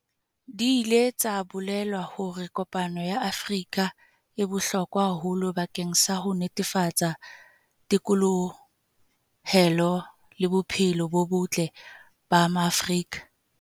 Di ile tsa bolela hore kopano ya Afrika e bohlokwa haholo bakeng sa ho netefatsa thekolohelo le bophelo bo botle ba Maafrika.